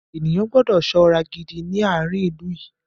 Ènìyàn gbọ́dọ̀ ṣọ́ra gidi ní àárín ilú yìí.